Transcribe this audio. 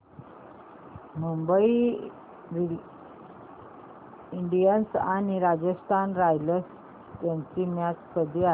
Mumbai Indians आणि Rajasthan Royals यांची match कधी आहे